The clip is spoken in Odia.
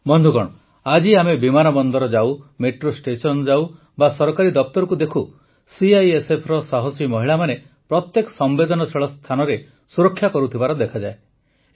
ବନ୍ଧୁଗଣ ଆଜି ଆମେ ବିମାନବନ୍ଦର ଯାଉ ମେଟ୍ରୋ ଷ୍ଟେସନ ଯାଉ ବା ସରକାରୀ ଦପ୍ତରକୁ ଦେଖୁ ସିଆଇଏସ୍ଏଫର ସାହସୀ ମହିଳାମାନେ ପ୍ରତ୍ୟେକ ସମ୍ବେଦନଶୀଳ ସ୍ଥାନର ସୁରକ୍ଷା କରୁଥିବା ଦେଖାଯାଏ